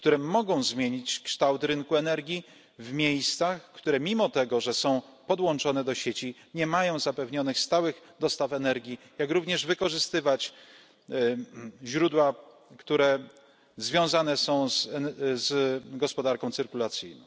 Mogą one zmienić kształt rynku energii w miejscach, które mimo tego, że są podłączone do sieci, nie mają zapewnionych stałych dostaw energii. Mogą one również wykorzystywać źródła, które związane są z gospodarką cyrkulacyjną.